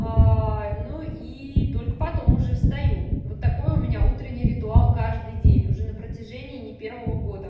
ну и только потом уже встаю вот такой у меня утренний ритуал каждый день уже на протяжении не первого года